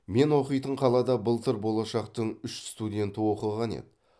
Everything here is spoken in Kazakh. мен оқитын қалада былтыр болашақтың үш студенті оқыған еді